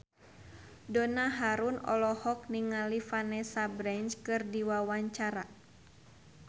Donna Harun olohok ningali Vanessa Branch keur diwawancara